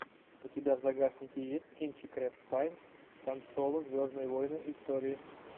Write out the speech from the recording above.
у тебя в загашнике есть кинчик рэйф файнс хан соло звездные войны истории